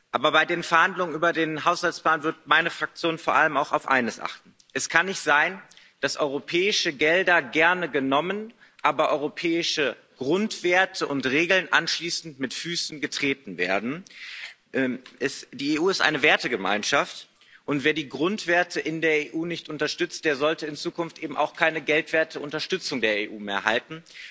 Aber bei den Verhandlungen über den Finanzrahmen wird meine Fraktion vor allem auf eines achten Es kann nicht sein, dass europäische Gelder gerne genommen, aber europäische Grundwerte und Regeln anschließend mit Füßen getreten werden. Die EU ist eine Wertegemeinschaft und wer die Grundwerte in der EU nicht unterstützt, der sollte in Zukunft eben auch keine geldwerte Unterstützung der EU mehr erhalten.